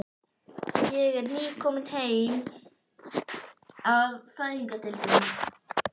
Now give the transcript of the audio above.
Ég er nýkomin heim af Fæðingardeildinni.